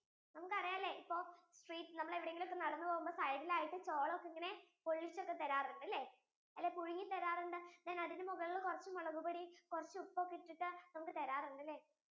നമുക്ക് അറിയാലേ ഇപ്പൊ എവിടെങ്കിലും ഒക്കെ നടന്നു പോവുമ്പോൾ side യിൽ ആയിട്ടു ചോളം ഇങ്ങനെ പൊള്ളിച്ചു ഒക്കെ തരാറുണ്ട് അല്ലെ, പുഴുങ്ങി തരാറുണ്ട് പിന്നെ മുകളിൽ കുറച്ചു മുളകുപൊടി കുറച്ചു ഉപ്പു ഒക്കെ ഇട്ടതു നമുക്ക് തരാറുണ്ടല്ലേ